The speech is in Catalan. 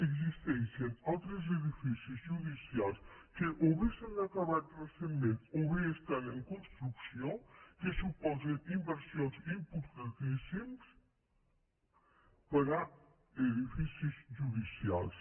existeixen altres edificis judicials que o bé s’han acabat recentment o bé estan en construcció que suposen inversions importantíssimes per a edificis judicials